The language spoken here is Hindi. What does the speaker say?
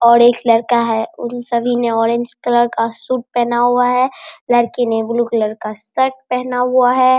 और एक लड़का है उन सभी ने ऑरेंज कलर का सूट पहना हुआ है लड़की ने ब्लू कलर का शर्ट पहना हुआ है |